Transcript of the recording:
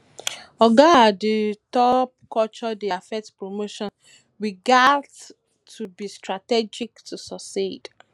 oga at the um top culture dey affect promotions we gats to be strategic to succeed